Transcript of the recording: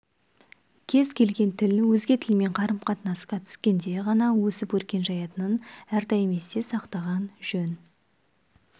кез келген тіл өзге тілмен қарым-қатынасқа түскенде ғана өсіп өркен жаятынын әрдайым есте сақтаған жөн